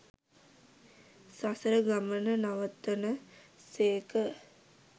සසර ගමන නවතන සේක.